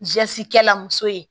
kɛla muso ye